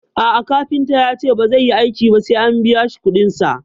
A'a kafintan yace bazai yi aiki ba sai an biyashi kuɗin sa